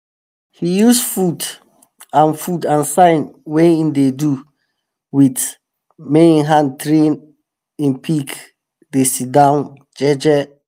he use food and food and sign wey em dey do with em hand train em pig to dey sit down jeje.